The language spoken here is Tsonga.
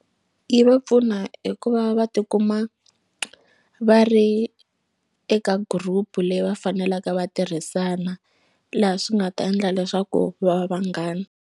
Yi va pfuna hi ku va va tikuma va ri eka group leyi va fanelaka va tirhisana laha swi nga ta endla leswaku va va vanghana.